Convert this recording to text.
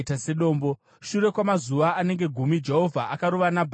Shure kwamazuva anenge gumi, Jehovha akarova Nabhari akafa.